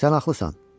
Sən haqlısan.